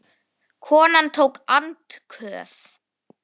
Konan tók andköf.